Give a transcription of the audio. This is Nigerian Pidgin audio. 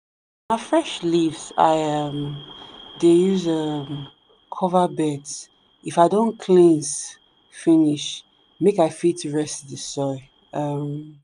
na fresh leaves i um dey use um cover beds if i don cleans finish make i fit rest the soil. um